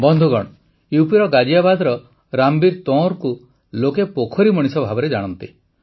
ବନ୍ଧୁଗଣ ୟୁପିର ଗାଜିଆବାଦର ରାମବୀର ତଁୱରଙ୍କୁ ଲୋକେ ପୋଖରୀ ମଣିଷ ଭାବେ ଜାଣନ୍ତି